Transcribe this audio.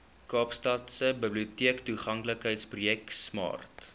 kaapstadse biblioteektoeganklikheidsprojek smart